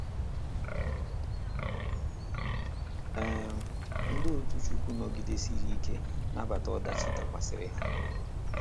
um Ndi otu Chukwu nọgidesiri ike nabata odachi dakwasara ha